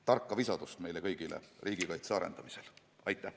" Tarka visadust meile kõigile riigikaitse arendamisel!